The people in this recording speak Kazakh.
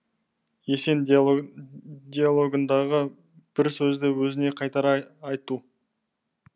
есен диалогындағы бір сөзді өзіне қайтара айту